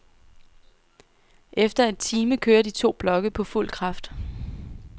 Efter en time kører de to blokke på fuld kraft.